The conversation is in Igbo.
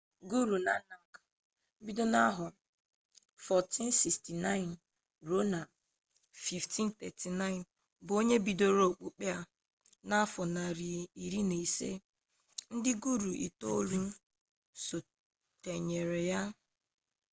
guru nanak 1469–1539 bụ onye bidoro okpukpe a n'afọ narị iri na ise. ndị guru itoolu sotere ya n'azụ